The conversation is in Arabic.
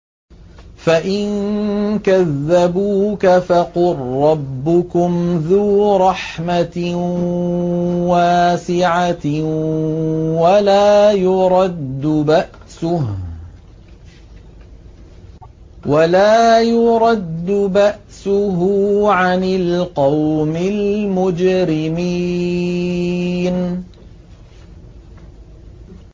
فَإِن كَذَّبُوكَ فَقُل رَّبُّكُمْ ذُو رَحْمَةٍ وَاسِعَةٍ وَلَا يُرَدُّ بَأْسُهُ عَنِ الْقَوْمِ الْمُجْرِمِينَ